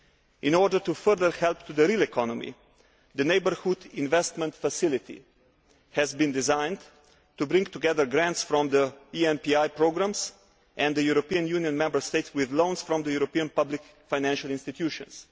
In order to further help the real economy, the Neighbourhood Investment Facility has been designed to bring together grants from the ENPI programmes and the European Union Member States with loans from the European public financial institutions.